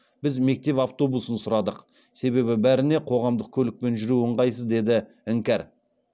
біз мектеп автобусын сұрадық себебі бәріне қоғамдық көлікпен жүру ыңғайсыз деді іңкәр